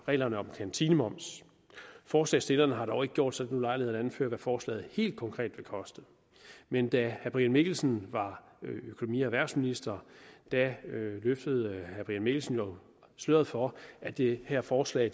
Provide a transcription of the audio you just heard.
reglerne om kantinemoms forslagsstillerne har dog ikke gjort sig den ulejlighed at anføre hvad forslaget helt konkret vil koste men da herre brian mikkelsen var økonomi og erhvervsminister løftede herre brian mikkelsen sløret for at det her forslag